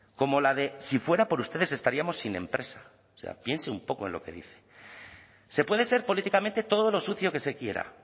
como la de si fuera por ustedes estaríamos sin empresa o sea piense un poco en lo que dice se puede ser políticamente todo lo sucio que se quiera